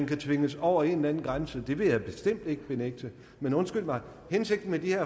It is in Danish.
kan tvinges over en eller anden grænse det vil jeg bestemt ikke benægte men undskyld mig hensigten med de her